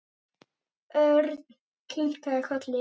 Örn kinkaði kolli.